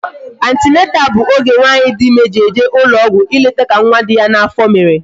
Atineta bụ oge nwaanyị dị ịme ji eje ụlọ ọgwụ ileta ka nwa dị ya n'afọ mere